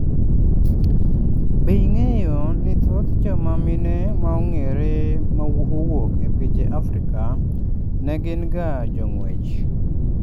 Be, ing'eyo ni thoth joma mine ma ong'ere ma owuok e pinje Afrika ne gin ga jong'wech